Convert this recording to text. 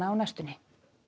á næstunni